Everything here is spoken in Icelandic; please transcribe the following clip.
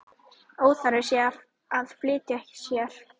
Óþarfi sé að flýta sér.